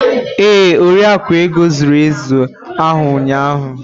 Ee, Oriakụ Ego zụrụ ezi ahụ ụnyahụ.